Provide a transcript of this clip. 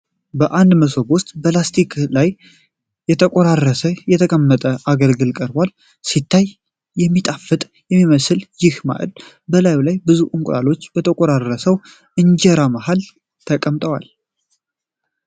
በአንድ መሶብ ዉስጥ በላስቲክ ላይ ተቆራርሶ የተቀመጠ አገልግል ቀርቧል። ሲታይ የሚጣፍጥ የሚመስለው ይሄ ማእድ በላዩ ላይ ብዙ እንቁላሎች በተቆራረሰው እንጀራ መሃል ተቀምጦበታል።